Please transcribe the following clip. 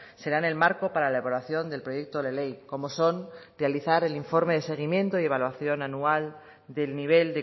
serán el marco para la elaboración del proyecto de ley como son realizar el informe de seguimiento y evaluación anual del nivel